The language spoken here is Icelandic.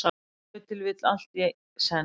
Ef til vill allt í senn.